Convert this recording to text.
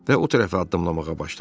Və o tərəfə addımlamağa başladı.